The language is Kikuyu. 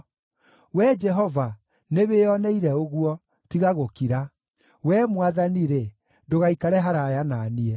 Wee Jehova, nĩwĩoneire ũguo; tiga gũkira. Wee Mwathani-rĩ, ndũgaikare haraaya na niĩ.